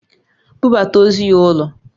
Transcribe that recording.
Bubata ozu ya ulo!